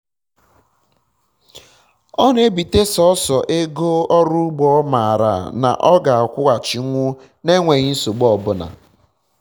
ọ na-ebite sọsọ ego um ọrụ ugbo ọ mara na ọ ga-akwụghachinwu na enweghi nsogbu ọbụla